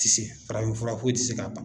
Ti se farafinfura foyi ti se k'a ban.